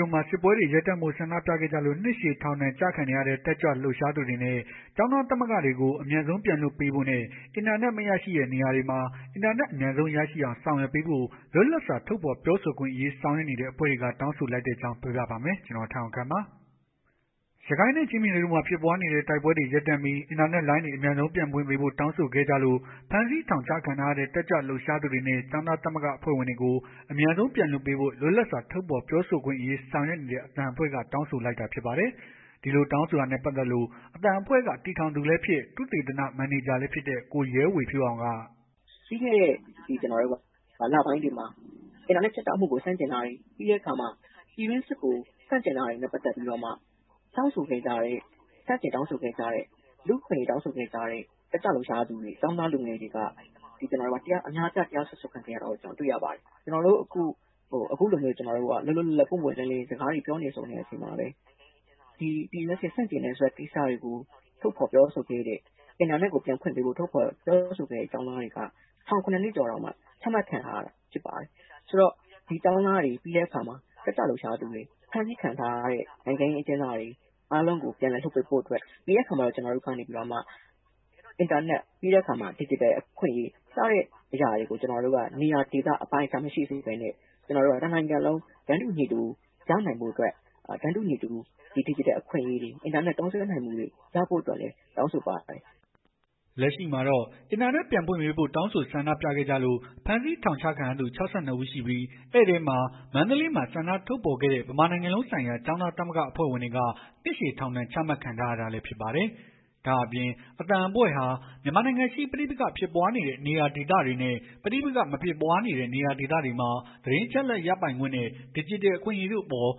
တို့မှာ စစ်ပွဲတွေရပ်တန့်ဖို့ ဆန္ဒပြခဲ့ကြလို့ နှစ်ရှည်ထောင်ဒဏ် ကျခံနေရတဲ့ တက်ကြွလှုပ်ရှားသူတွေနဲ့ ကျောင်းသားသမဂ္ဂအဖွဲ့ဝင်တွေကို အမြန်ဆုံးပြန်လွှတ်ပေးဖို့နဲ့ အင်တာနက် မရရှိတဲ့နေရာတွေမှာ အင်တာနက်အမြန်ဆုံး ရရှိအောင် ဆောင်ရွက်ပေးဖို့ လွတ်လပ်စွာ ထုတ်ဖော်ပြောဆိုခွင့်အရေး ဆောင်ရွက်နေတဲ့အဖွဲ့တွေက တောင်းဆိုလိုက်တဲ့အကြောင်း ကိုထက်အောင်ခန့် က တင်ပြပေးပါလိမ့်မယ် ။ ရခိုင်ပြည်နယ်နဲ့ ချင်းပြည်နယ်တို့မှာ ဖြစ်ပွားနေတဲ့ တိုက်ပွဲတွေရပ်တန့်ပြီး အင်တာနက်လိုင်းတွေ အမြန်ဆုံးပြန်ဖွင့်ပေးဖို့ တောင်းဆိုခဲ့ကြလို့ ဖမ်းဆီးထောင်ချခံထားရတဲ့ တက်ကြွလှုပ်ရှားသူတွေနဲ့ ကျောင်းသားသမဂ္ဂအဖွဲ့ဝင်တွေကို အမြန်ဆုံးပြန်လွှတ်ပေးဖို့ လွတ်လပ်စွာ ထုတ်ဖော်ပြောဆိုခွင့်အရေး ဆောင်ရွက်နေတဲ့ အသံအဖွဲ့က တောင်းဆိုလိုက်တာ ဖြစ်ပါတယ်။ ဒီလိုတောင်းဆိုတာနဲ့ ပတ်သက်လို့ အသံအဖွဲ့က တည်ထောင်သူလည်းဖြစ် သုတေသန မန်နေဂျာလည်းဖြစ်တဲ့ ကိုရဲဝေဖြိုးအောင်က - “ပြီးခဲ့တဲ့လပိုင်းတွေမှာ အင်တာနက်ဖြတ်တောက်မှုကို ဆန့်ကျင်တာတွေ ပြည်တွင်းစစ်ကိုဆန့်ကျင်တာတွေနဲ့ ပတ်သက်ပြီးတော့မှ ဆန့်ကျင်တောင်းဆိုခဲ့ကြတဲ့ လူ့အခွင့်ရေး တောင်းဆိုခဲ့ကြတဲ့ တက်ကြွလှုပ်ရှားသူတွေ ကျောင်းသားလူငယ်တွေ အများအပြား တရားစွဲဆိုခံနေရတယ်။ ကျွန်တော်တို့ အခုလို လွတ်လွတ်လပ်လပ် စကားတွေပြောဆိုနေတဲ့အချိန်မှာပဲ ပြည်တွင်းစစ်ကို ဆန့်ကျင်ဖို့ ထုတ်ဖော်ပြောဆိုခဲ့တဲ့ အင်တာနက်ကို ပြန်ဖွင့်ပေးဖို့ ထုတ်ဖော်ပြောဆိုခဲ့တဲ့ ကျောင်းသားတွေက ထောင် ၇ နှစ်ကျော်တောင် ချမှတ်ခံထားရတာ ဖြစ်ပါတယ်။ တက်ကြွလှုပ်ရှားသူတွေ ကျောင်းသားတွေ ဖမ်းဆီးခံထားရတဲ့ နိုင်ငံရေးအကျဉ်းသားတွေ ပြန်လည်လွှတ်ပေးဖို့အတွက် ပြီးတဲ့အခါမှာ အင်တာနက် ဒစ်ဂျစ်တယ် အခွင့်အရေး စတာတွေကို နေရာဒေသ အပိုင်းအခြား မရှိစေဘဲနဲ့ တနိုင်ငံလုံး တန်းတူညီတူရနိုင်ဖို့အတွက် ဒစ်ဂျစ်တယ် အခွင့်အရေး အင်တာနက် သုံးစွဲနိုင်ဖို့အတွက် တောင်းဆိုပါတယ်။” လက်ရှိမှာတော့ အင်တာနက်ပြန်ဖွင့်ပေးဖို့ တောင်းဆိုဆန္ဒပြခဲ့ကြလို့ ဖမ်းဆီးထောင်ချခံရသူ ၆၂ ဦးရှိပြီး အဲ့ထဲမှာ မန္တလေးမှာ ဆန္ဒထုတ်ဖော်ခဲ့တဲ့ ဗမာနိုင်ငံလုံးဆိုင်ရာ ကျောင်းသားသမဂ္ဂအဖွဲ့ဝင်တွေက နှစ်ရှည်ထောင်ဒဏ် ချမှတ်ခံထားရတာလည်းဖြစ်ပါတယ်။ ဒါ့အပြင် အသံအဖွဲ့ဟာ မြန်မာနိုင်ငံရှိ ပဋိပက္ခ ဖြစ်ပွားနေတဲ့ ဒေသတွေနဲ့ ပဋိပက္ခမဖြစ်ပွားနေတဲ့ နေရာဒေသတွေမှာ သတင်းအချက်အလက်ရပိုင်ခွင့်နဲ့ ဒီဂျစ်တယ် အခွင့်အရေးတို့အပေါ်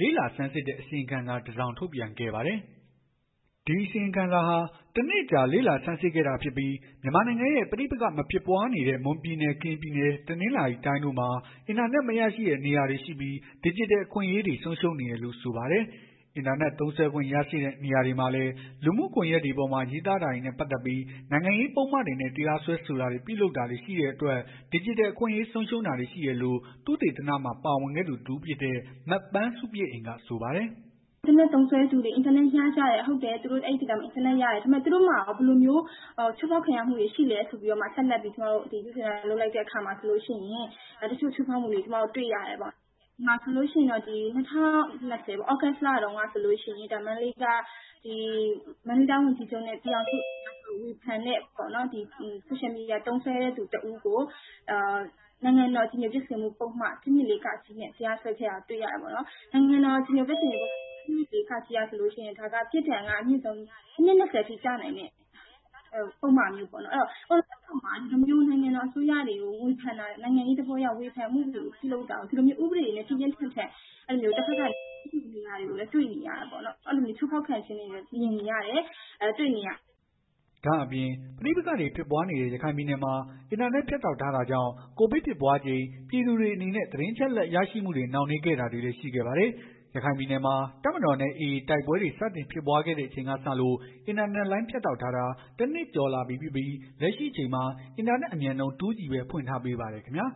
လေ့လာဆန်းစစ်တဲ့ အစီရင်ခံစာတစောင်ကို ထုတ်ပြန်ခဲ့ပါတယ်။ ဒီအစီရင်ခံစာဟာ ၁ နှစ်အကြာ လေ့လာဆန်းစစ်ခဲ့တာဖြစ်ပြီး မြန်မာနိုင်ငံရဲ့ ပဋိပက္ခ မဖြစ်ပွားတဲ့ မွန်ပြည်နယ် ကရင်ပြည်နယ် တနင်္သာရီတို့မှာလည်း အင်တာနက်မရရှိတဲ့ နေရာတွေရှိပြီး ဒစ်ဂျစ်တယ် အခွင့်အရေး ဆုံးရှုံးနေတယ်လို့ဆိုပါတယ်။ အင်တာနက် သုံးစွဲခွင့်ရရှိတဲ့နေရာတွေမှာလည်း လူမှုကွန်ယက်ပေါ်မှာ ရေးသားတာတွေနဲ့ ပတ်သက်ပြီး နိုင်ငံရေးပုဒ်မတွေနဲ့ တရားစွဲဆိုတာတွေ ပြုလုပ်တာတွေရှိတဲ့အတွက် ဒစ်ဂျစ်တယ် အခွင့်အရေး ဆုံးရှုံးတာတွေ ရှိတယ်လို့ သုတေသနမှာပါဝင်ခဲ့သူ တစ်ဦးဖြစ်တဲ့ မပန်းဆုပြည့်အိမ် က ဆိုပါတယ်။ “အင်တာနက်သုံးစွဲသူတွေ အင်တာနက်ရကြတယ်။ သူတို့မှာကော ဘယ်လိုမျိုးချိုးဖောက်ခံရမှုတွေရှိလည်းဆိုပြီး သုတေသန လုပ်လိုက်တဲ့အခါမှာဆိုရင် တချို့ချိုးဖောက်မှုတွေ တွေ့ရတယ်ပေါ့။၂ဝ၂ဝ သြဂုတ်လတုန်း ကဆိုရင် မန္တလေးတိုင်းဝန်ကြီးချုပ်နဲ့ ဝန်ကြီးတွေကို ဝေဖန်တဲ့ Social media သုံးစွဲသူ တဦးကို နိုင်ငံတော် အကြည်ညိုပျက်စေမှု ပုဒ်မ ၁၂၄ (က) နဲ့ တရားစွဲခဲ့တာကို တွေ့ရတယ်ပေါ့နော်။ နိုင်ငံတော်အကြည်ညို ပျက်စေမှု ၁၂၄ (က) ဆိုရင် အနှစ် ၂ဝ အထိ ကျနိုင်တဲ့ ပုဒ်မမျိုးပေါ့နော်။ နိုင်ငံတော် အစိုးရတွေ နိုင်ငံရေး သဘောအရ ဝေဖန်တာတွေကို ဥပဒေတွေနဲ့ ပြင်းပြင်းထန်ထန်ပြုလုပ်နေတာတွေကိုလည်း တွေ့နေရတယ်ပေါ့။ အဲ့လိုချိုးဖောက်ခံရတာတွေလည်း တွေ့နေရတယ် မြင်နေရတယ်။” ဒါ့အပြင် ပဋိပက္ခတွေ ဖြစ်ပွားနေတဲ့ ရခိုင်ပြည်နယ်မှာ အင်တာနက်ဖြတ်တောက်ထားတာကြောင့် ကိုဗစ်ဖြစ်ပွားချိန် ပြည်သူတွေအနေနဲ့ သတင်းအချက်အလက်ရရှိမှုတွေ နှောင့်နှေးခဲ့တာတွေလည်း ရှိခဲ့ပါတယ်။ ရခိုင်ပြည်နယ်မှာ တပ်မတော်နဲ့ အေအေ တိုက်ပွဲတွေ စတင်ဖြစ်ပွားခဲ့ချိန်ကစလို့ အင်တာနက်လိုင်း ဖြတ်တောက်ထားတာ ၁ နှစ်ကျော်လာပြီဖြစ်ပြီး လက်ရှိအချိန်မှာ အင်တာနက်အမြန်နှုန်း 2G ပဲ ဖွင့်ပေးထားပါတယ်ခင်ဗျာ